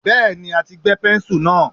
Bẹ́ẹ̀ni, a ti gbẹ́ pẹ́ńsù náà.